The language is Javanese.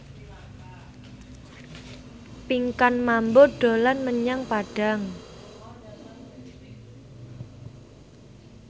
Pinkan Mambo dolan menyang Padang